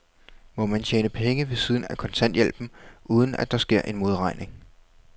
Må man tjene penge ved siden af kontanthjælpen, uden at der sker en modregning?